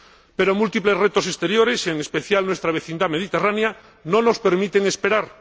Pero múltiples retos exteriores, en especial nuestra vecindad mediterránea, no nos permiten esperar.